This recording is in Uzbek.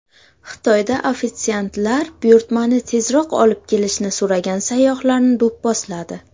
Xitoyda ofitsiantlar buyurtmani tezroq olib kelishni so‘ragan sayyohlarni do‘pposladi.